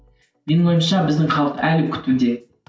менің ойымша біздің халық әлі күтуде